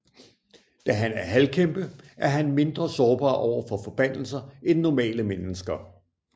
Da han er halvkæmpe er han mindre sårbar overfor forbandelser end normale mennesker